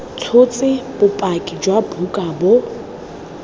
tshotse bopaki jwa buka bo